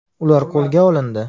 Ular qo‘lga olindi.